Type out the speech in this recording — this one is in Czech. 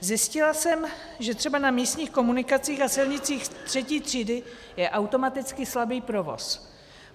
Zjistila jsem, že třeba na místních komunikacích a silnicích třetí třídy je automaticky slabý provoz.